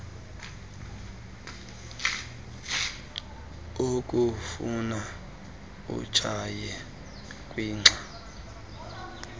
olufuna utshaye kwixa